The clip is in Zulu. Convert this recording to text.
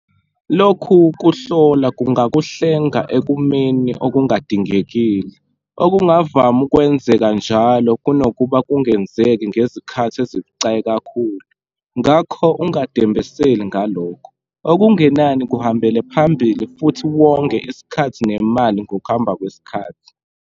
Lokhu kuhlola kungakuhlenga ekumeni okungadingekile, okungavama ukwenzeka njalo kunokuba kungenzeki ngezikhathi ezibucayi kakhulu. Ngakho ungadembeseli ngalokho, okungenani kuhambele phambili futhi wonge isikhathi nemali ngokuhamba kwesikhathi.